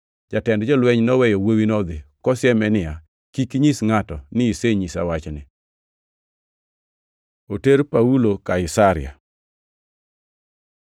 Jatend jolweny noweyo wuowino modhi, kosieme niya, “Kik inyis ngʼato ni isenyisa wachni.” Oter Paulo Kaisaria